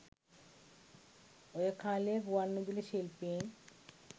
ඔය කාලේ ගුවන්විදුලි ශිල්පීන්